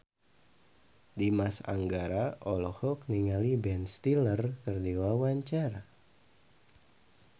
Dimas Anggara olohok ningali Ben Stiller keur diwawancara